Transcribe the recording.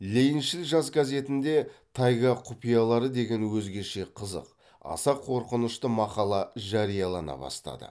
лениншіл жас газетінде тайга құпиялары деген өзгеше қызық аса қорқынышты мақала жариялана бастады